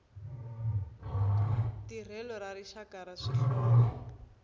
tirhelo ra rixaka ra swihlovo